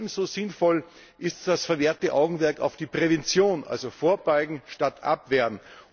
Ebenso sinnvoll ist das vermehrte Augenmerk auf die Prävention, also vorbeugen statt abwehren.